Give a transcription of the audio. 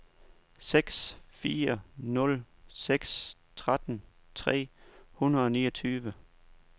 seks fire nul seks tretten tre hundrede og niogtyve